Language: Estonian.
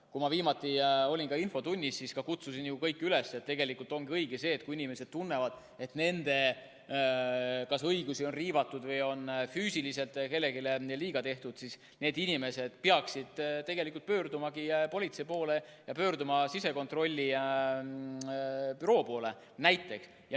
Kui ma viimati olin infotunnis, siis kutsusin kõiki üles, sest tegelikult on õige see: kui inimesed tunnevad, et nende õigusi on riivatud või on füüsiliselt kellelegi liiga tehtud, siis nad pöörduksid politsei poole ja näiteks sisekontrollibüroo poole.